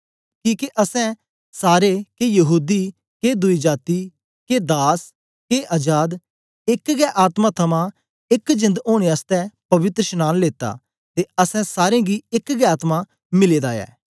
किके असैं सारे के यहूदी के दुई जाती के दास के अजाद एक गै आत्मा थमां एक जेंद ओनें आसतै पवित्रशनांन लेता ते असैं सारें गी एक गै आत्मा मिले दा ऐ